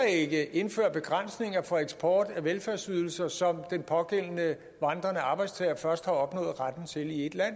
ikke indføre begrænsninger for eksport af velfærdsydelser som den pågældende vandrende arbejdstager først har opnået retten til i et land